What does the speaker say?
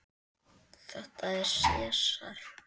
Þetta er Sesar.